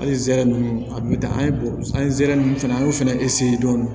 Hali zɛrɛn nunnu a bi taa an ye bɔ an ye nsɛrɛ ninnu fɛnɛ an y'o fɛnɛ eseye dɔɔni